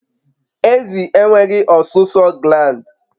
Ezi enweghị ọsụsọ gland